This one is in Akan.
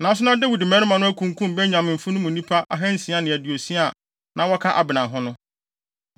Nanso na Dawid mmarima no akunkum Benyaminfo no mu nnipa ahansia ne aduosia a na wɔka Abner ho no.